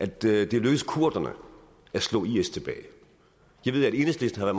det er lykkedes kurderne at slå is tilbage jeg ved at enhedslisten har